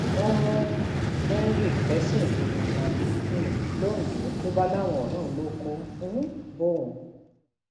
wọn mú henry fẹsùn ìdígunjalè um londo ló bá láwọn ọrẹ òun lọ kó um bọun